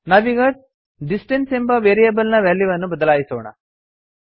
ನಾವೀಗ ಡಿಸ್ಟೆನ್ಸ್ ಎಂಬ ವೇರಿಯೇಬಲ್ ನ ವ್ಯಾಲ್ಯೂವನ್ನು ಬದಲಾಯಿಸೋಣ